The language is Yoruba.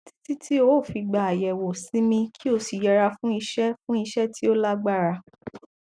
títí tí o fi gba àyẹwò sinmi kí o sì yẹra fún iṣẹ fún iṣẹ tí ó lágbára